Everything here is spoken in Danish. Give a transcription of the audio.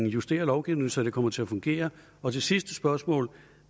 justere lovgivningen så det kommer til at fungere og det sidste spørgsmål